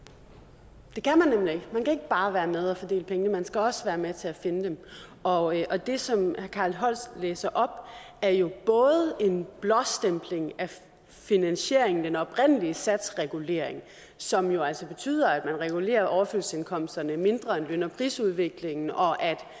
det kan ikke bare være med og fordele pengene man skal også vil være med til at finde dem og og det som herre carl holst læser op er jo en blåstempling af finansieringen den oprindelige satsregulering som jo altså betyder at man regulerer overførselsindkomsterne mindre end løn og prisudviklingen og